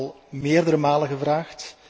Wij hebben dat al meerdere malen gevraagd.